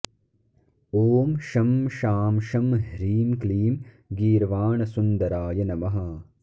ॐ शं शां षं ह्रीं क्लीं गीर्वाणसुन्दराय नमः